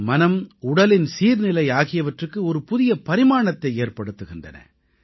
நமது மனம் உடலின் சீர்நிலை ஆகியவற்றுக்கு ஒரு புதிய பரிமாணத்தை ஏற்படுத்துகின்றன